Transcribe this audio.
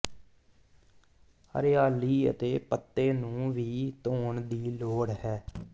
ਹਰਿਆਲੀ ਅਤੇ ਪੱਤੇ ਨੂੰ ਵੀ ਧੋਣ ਦੀ ਲੋੜ ਹੈ